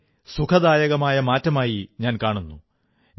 ഇതിനെ സുഖദായകമായ മാറ്റമായി ഞാൻ കാണുന്നു